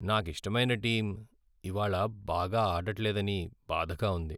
నాకిష్టమైన టీమ్ ఇవాళ్ళ బాగా ఆడట్లేదని బాధగా ఉంది.